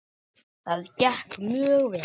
Það gekk mjög vel.